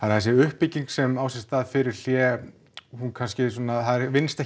að þessi uppbygging sem á sér stað fyrir hlé hún kannski svona það vinnst